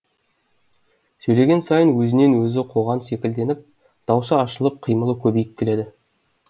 сөйлеген сайын өзінен өзі қоған секілденіп даусы ашылып қимылы көбейіп келеді